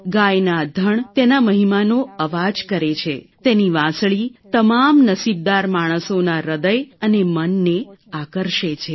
ગાયના ધણ તેના મહિમાનો અવાજ કરે છે તેની વાંસળી તમામ નસીબદાર માણસોના હૃદય અને મનને આકર્ષે છે